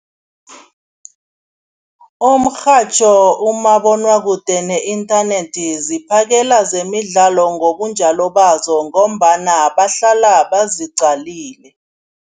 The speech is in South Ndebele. Umrhatjho, umabonwakude ne-internet ziphakela zemidlalo ngobunjalo bazo ngombana bahlala baziqalile.